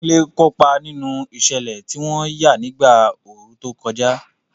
Kunle kópa nínú ìṣẹ̀lẹ̀ tí wọ́n yà nígbà ooru tó kọjá.